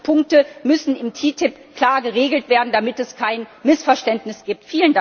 Alle diese Punkte müssen in der TTIP klar geregelt werden, damit es kein Missverständnis gibt.